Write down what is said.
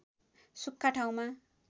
सुख्खा ठाउँमा